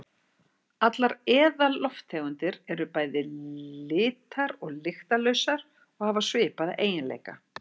Allar eðallofttegundir eru bæði litar- og lyktarlausar og hafa svipaða eiginleika.